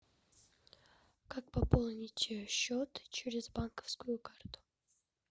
как пополнить счет через банковскую карту